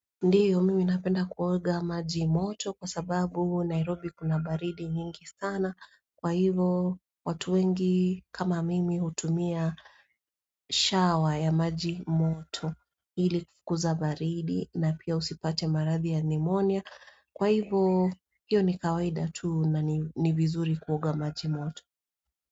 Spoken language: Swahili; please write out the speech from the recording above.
Ndiyo mimi napenda kuoga maji moto kwa sababu Nairobi kuna baridi nyingi sana kwa hivo watu wengi kama mimi utumia shower ya maji moto hili kuza baridi na pia usipate marathi ya pneumonia kwa hivo hivo ni kawaida tuu na ni vizuri kuoga maji moto.